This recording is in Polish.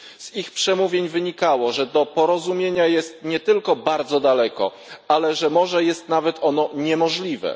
Z ich przemówień wynikało, że do porozumienia jest nie tylko bardzo daleko, ale że może jest ono nawet niemożliwe.